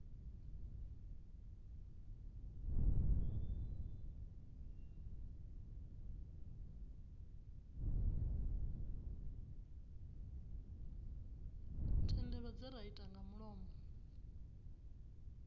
thendelo dzi nga irte nga mulomo